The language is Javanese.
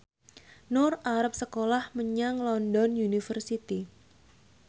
Nur arep sekolah menyang London University